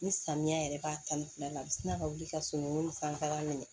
Ni samiya yɛrɛ b'a ta ni fila la a bi sina ka wuli ka sunugun sanfɛla minɛ